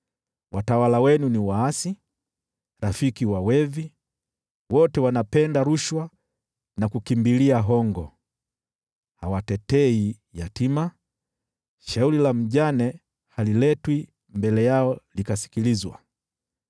Watawala wenu ni waasi, rafiki wa wevi, wote wanapenda rushwa na kukimbilia hongo. Hawatetei yatima, shauri la mjane haliletwi mbele yao lisikilizwe.